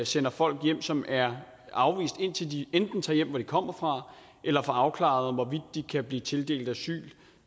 sender folk hen som er afvist indtil de enten tager hjem hvor de kommer fra eller får afklaret hvorvidt de kan blive tildelt asyl